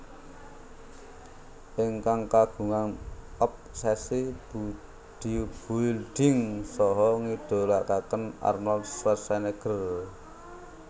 Ingkang kagungan obsesi bodybuilding saha ngidolakaken Arnold Schwarznegger